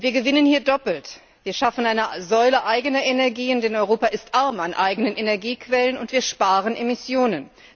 Wir gewinnen hier doppelt Wir schaffen eine Säule eigener Energien, denn Europa ist arm an eigenen Energiequellen, und wir sparen Emissionen.